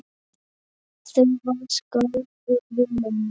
Þú varst góður vinur minn.